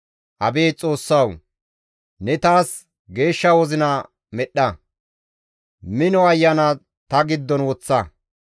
Abeet Xoossawu! Ne taas geeshsha wozina medhdha; mino ayana ta giddon woththa.